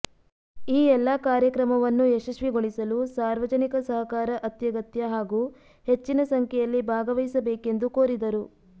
ಈ ಎಲ್ಲಾ ಕಾರ್ಯಕ್ರಮವನ್ನು ಯಶಸ್ವಿಗೊಳಿಸಲು ಸಾರ್ವಜನಿಕ ಸಹಕಾರ ಅತ್ಯಗತ್ಯ ಹಾಗೂ ಹೆಚ್ಚಿನ ಸಂಖ್ಯೆಯಲ್ಲಿ ಭಾಗವಹಿಸಬೇಕೆಂದು ಕೋರಿದರು